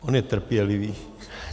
On je trpělivý.